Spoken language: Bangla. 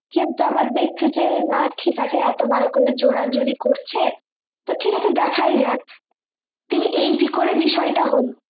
কিন্তু আবার দেখছে যে না ঠিক আছে এত বার করে জোরাজুরি করছে তো ঠিকাছে দেখায় যাক তো এই করে বিষয়টা হলো